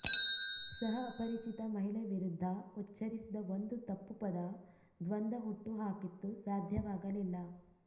ಸಹ ಅಪರಿಚಿತ ಮಹಿಳೆ ವಿರುದ್ಧ ಉಚ್ಚರಿಸಿದ ಒಂದು ತಪ್ಪು ಪದ ದ್ವಂದ ಹುಟ್ಟುಹಾಕಿತ್ತು ಸಾಧ್ಯವಾಗಲಿಲ್ಲ